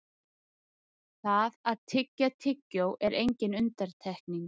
Það að tyggja tyggjó er engin undantekning.